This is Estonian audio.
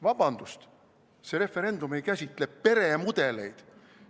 Vabandust, see referendum ei käsitle peremudeleid.